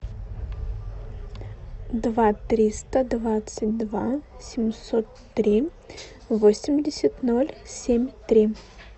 два триста двадцать два семьсот три восемьдесят ноль семь три